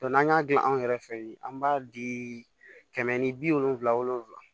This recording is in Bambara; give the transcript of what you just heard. n'an y'a dilan anw yɛrɛ fɛ yen an b'a di kɛmɛ ni bi wolonfila wolonfila